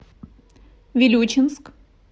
вилючинск